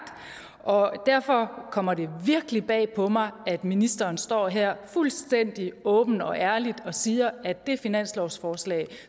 derfor kommer det virkelig bag på mig at ministeren står her fuldstændig åbent og ærligt og siger at det finanslovsforslag